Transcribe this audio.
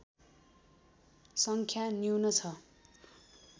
सङ्ख्या न्यून छ